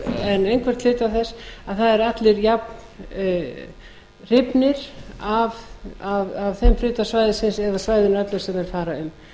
en einhvern hluta þess að það eru allir jafnhrifnir af þeim hluta svæðisins eða svæðinu öllu sem þeir fara um ég held að